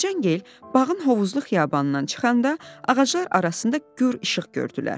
Mərcangil bağın hovuzlu xiyabanından çıxanda ağaclar arasında gur işıq gördülər.